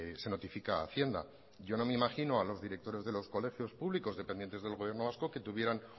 se notifica a hacienda yo no me imagino a los directores de los colegios públicos dependientes del gobierno vasco que tuvieran